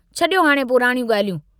छड़ियो हाणे पुराणियूं गाल्हियूं।